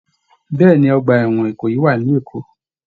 Bẹẹni, ọgbà ẹwọn Ìkòyí wà nílu Èkó.